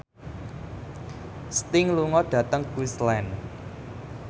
Sting lunga dhateng Queensland